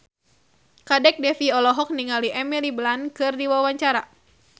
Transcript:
Kadek Devi olohok ningali Emily Blunt keur diwawancara